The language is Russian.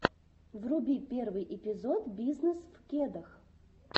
вруби первый эпизод бизнесвкедах